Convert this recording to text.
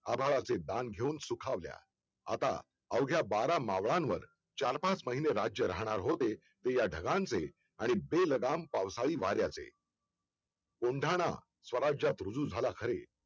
आभाळाचे दान घेऊन सुखावल्या आता अवघ्या बारा मावळ्यांवर चार-पाच महिने राज्य राहणार होते ते या ढगांचे आणि बेलगाम पावसाळी वाऱ्याचे कोंढाणा स्वराजात रुजू झाला खरे